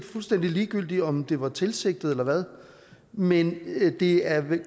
fuldstændig ligegyldigt om det var tilsigtet eller hvad men det er vel